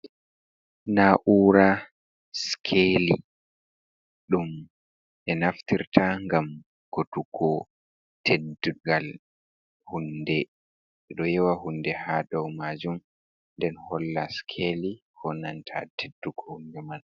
Naa'ura sikeeli ɗum ɓe naftirta, ngam godugo teddungal huunde, ɓe ɗo yowa huunde haa doo maajum nden holla sikeeli, koo nanta teddugo huunde man.